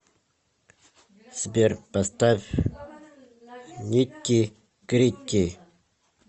сбер поставь нитти гритти